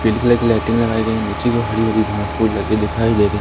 पिले कलर की लाइटिंग लगाइ गई है नीचे की और हरी भरी घास फुस लगी दिखाई दे रही--